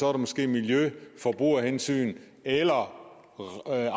er det måske miljø forbrugerhensyn eller